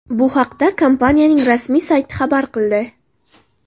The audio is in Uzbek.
Bu haqda kompaniyaning rasmiy sayti xabar qildi .